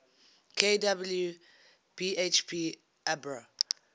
kw bhp abbr